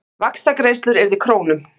Vaxtagreiðslur yrðu í krónum